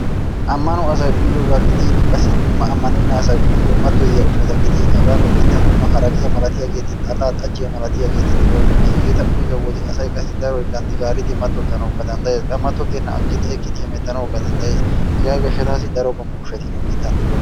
ammanoyasay uyyiyooga gidin qassi dumma ammanena asay uyyiyo mattoyiya ushshata gidin haga nu biittan dumma haraqqiya malatiyaageeti, xallaa, xajjiyaa malatiyaageeti de'oosona. hegeta uyyido wode asay qassi daroy ganddi gaaridi matottanawukka danddayees. qa matottena aggidi eqqidi hemettanawukka danddayees. hega gishshatassi daro qommo ushshati nu biittan de'oosona.